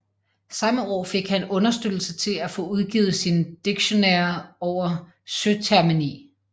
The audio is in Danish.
Samme år fik han understøttelse til at få udgivet sin Dictionnaire over Søtermini